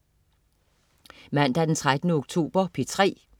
Mandag den 13. oktober - P3: